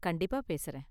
கண்டிப்பா பேசுறேன்.